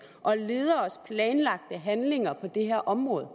og lederes planlagte handlinger på dette område